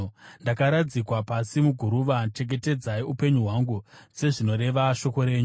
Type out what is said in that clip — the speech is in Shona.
Ndakaradzikwa pasi muguruva; chengetedzai upenyu hwangu sezvinoreva shoko renyu.